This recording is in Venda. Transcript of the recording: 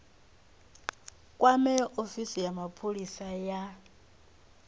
kwame ofisi ya mapholisa ya